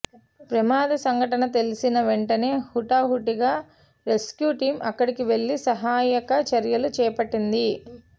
ప్రమాద సంఘటన తెలిసిన వెంటనే హుటాహుటిన రెస్క్యూ టీం అక్కడికి వెళ్లి సహాయక చర్యలు చేపట్టింది